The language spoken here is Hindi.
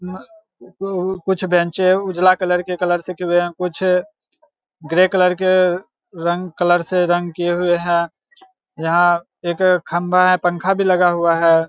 कुछ बेंचे हैं उजला कलर के कलर से किये हुए हैं। कुछ अ ग्रे कलर के रंग कलर से रंग किये हुए है। यहाँ एक खम्भा है पंखा भी लगा हुआ है।